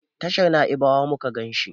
tashar naibawa muka ganshi